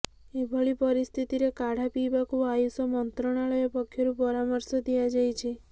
ଏଭଳି ପରିସ୍ଥିତିରେ କାଢା ପିଇବାକୁ ଆୟୁଷ ମନ୍ତ୍ରଣାଳୟ ପକ୍ଷରୁ ପରାମର୍ଶ ଦିଆଯାଇଛି